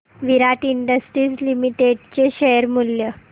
विराट industries limited चे share मूल्य